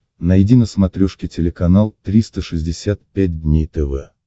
найди на смотрешке телеканал триста шестьдесят пять дней тв